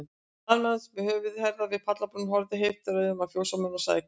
Staðnæmdist með höfuð og herðar við pallbrún, horfði heiftaraugum á fjósamann, og sagði hvasst